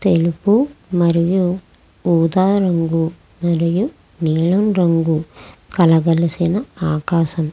తెలుపు మరియు ఊదా రంగు మరియు నీలం రంగు కలగలసిన ఆకాశం.